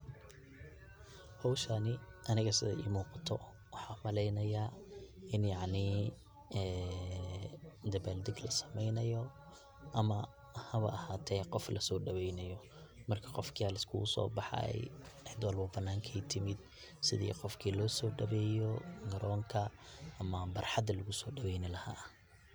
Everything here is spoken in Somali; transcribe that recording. Howshani aniga sidaay ii muuqato waxaan umaleynayaa ini yacnii ee dabaal dag lasameynayo ama hawa ahaate qof lasoo daweynayo. Marki qofki la iskugu soo baxay cid walbo banaankay timid sidii qofki lo soo daweeyo garonka ama barxadi lagu soo daweyni lahaa.